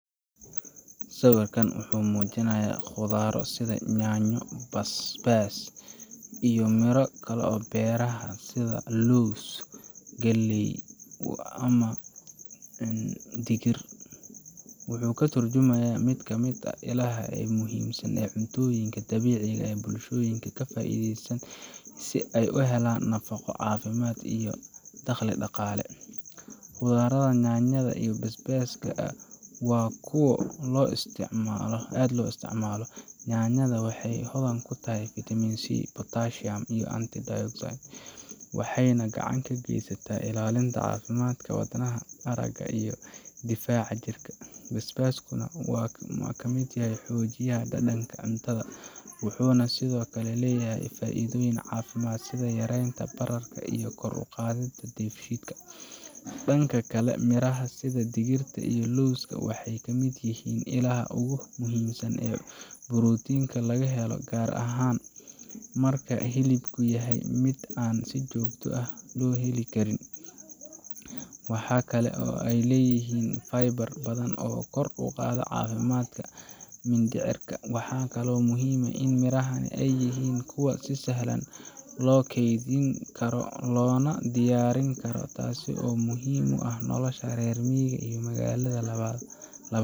Sawirkan wuxuu mujiinayaa qudhaar basbas iyo miro kale beeraha sitha los ama digirta wuxuu ka turjumaya cuntoyinka dabiciga ah si ee u helan nafaqo daqli daqale nyanyada iyo bas baska waxa kuwa lo isticmalo, waxee hodhan kutahay, cafimaadka wadnaha difaca jirka, basbaskana ciyarta danka waxee leyahan faidho sitha yarenta iyo kor uqadhida, waxa kalo ee leyihin kor uqadida, waxaa muhiim ah in ee yihin kuwa si fican lo kedhin karo lona diyarin karo tasi oo muhiim u ah.